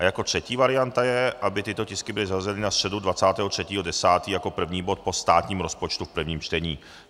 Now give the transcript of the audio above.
A jako třetí varianta je, aby tyto tisky byly zařazeny na středu 23. 10. jako první bod po státním rozpočtu v prvním čtení.